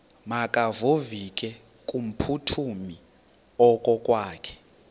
makevovike kumphuthumi okokwakhe